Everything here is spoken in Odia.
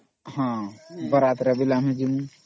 ବିବାହ ଶୋଭାଯାତ୍ରା ରେ ବି ଜିମୂ